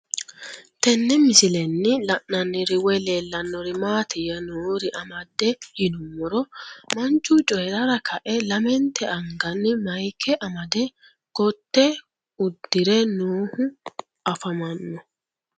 Tenne misilenni la'nanniri woy leellannori maattiya noori amadde yinummoro manchu coyirara kae lamentte anganni mayiike amade kootte udirre noohu afammanno